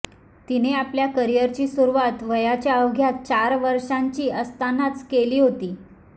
तिने आपल्या करियरची सुरुवात वयाच्या अवघ्या चार वर्षांची असतानाच केली होती